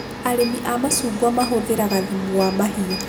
Arĩmi a macungwa mahũthagĩra thumu wa mahiũ